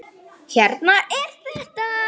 Hérna er þetta!